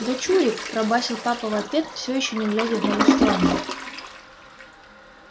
дочурик пробасил папа в ответ все ещё не глядя в мою сторону